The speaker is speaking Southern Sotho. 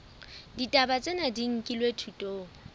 ditaba tsena di nkilwe thutong